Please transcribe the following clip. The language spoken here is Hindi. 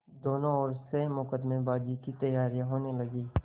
दोनों ओर से मुकदमेबाजी की तैयारियॉँ होने लगीं